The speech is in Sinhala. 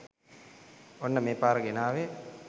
ඔන්න මේ පාර ගෙනාවේ